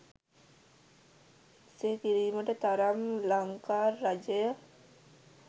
එසේ කිරීමට තරම් ලංකා රජය